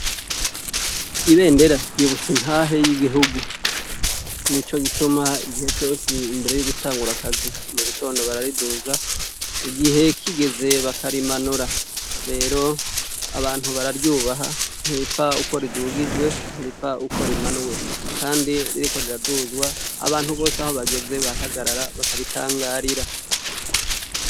Ibendera ry'ibutsa intahe yigihugu, nico gituma igihe cose imbere yogutangura akazi mugitondo barariduza, igihe kigeze bakarimanura, rero abantu bararyubaha ntiripfa uko ridugijwe ntiripfa uko rimanuwe, kandi ririko riraduzwa abantu bose aho bageze barahagarara bakaritangarira.